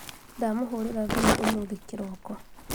ndamũhũrira thimũ ũmũthĩ kĩroko